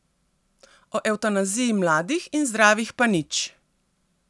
O evtanaziji mladih in zdravih pa nič!